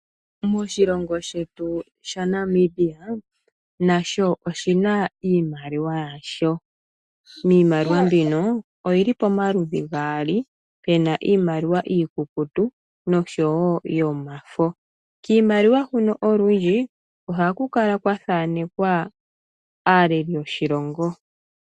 Oshilongo shetu shaNamibia, nasho oshi na iimaliwa yasho. Iimaliwa mbino oyi li pamaludhi gaali, pe na iimaliwa iikukutu, noshowo yomafo. Kiimaliwa huno olundji ohaku kala kwa thaanekwa aaleli yoshilongo.